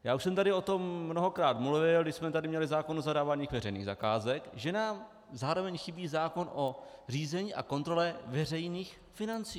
Já už jsem tady o tom mnohokrát mluvil, když jsme tady měli zákon o zadávání veřejných zakázek, že nám zároveň chybí zákon o řízení a kontrole veřejných financí.